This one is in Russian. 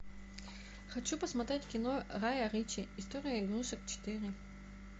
хочу посмотреть кино гая ричи история игрушек четыре